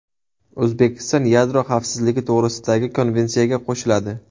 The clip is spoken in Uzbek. O‘zbekiston Yadro xavfsizligi to‘g‘risidagi konvensiyaga qo‘shiladi.